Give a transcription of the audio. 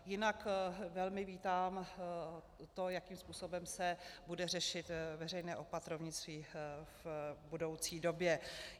Jinak velmi vítám to, jakým způsobem se bude řešit veřejné opatrovnictví v budoucí době.